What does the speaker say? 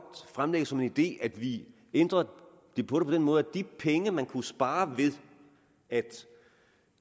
fremlægge som en idé at vi ændrer på det på den måde at de penge man kunne spare ved at